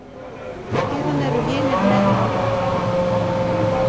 Síðan eru hinir með manni.